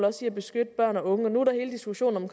også at beskytte børn og unge nu er der hele diskussionen